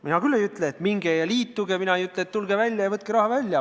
Mina ei ütle, et minge ja liituge sambaga, mina ei ütle, et lahkuge sambast ja võtke raha välja.